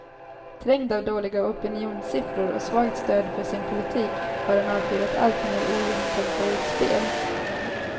Trängd av dåliga opinionssiffror och svagt stöd för sin politik har han avfyrat alltmer ogenomtänkta utspel.